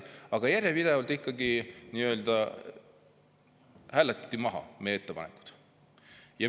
Aga järjepidevalt hääletati meie ettepanekud ikkagi maha.